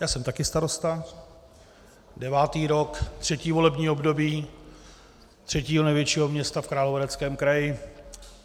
Já jsem taky starosta - devátý rok, třetí volební období třetího největšího města v Královéhradeckém kraji.